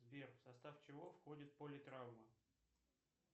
сбер в состав чего входит политравма